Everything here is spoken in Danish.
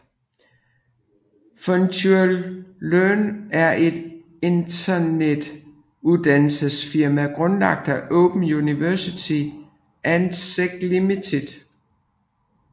FutureLearn er et internet uddannelsesfirma grundlagt af Open University and Seek Limited